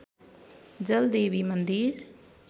जलदेवी मन्दिर